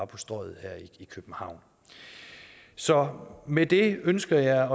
på strøget her i københavn så med det ønsker jeg